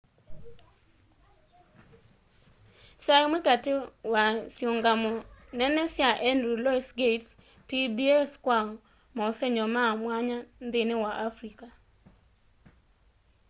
kyaĩ kĩmwe katĩ wa syĩũngamo nene sya henry lũoĩs gates' pbs kya maũsenyo ma mwanya nthĩnĩ wa afrĩca